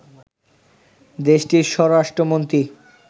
দেশটির স্বরাষ্ট্রমন্ত্রী